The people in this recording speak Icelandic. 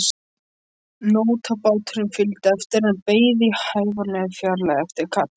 Nótabáturinn fylgdi eftir en beið í hæfilegri fjarlægð eftir kalli.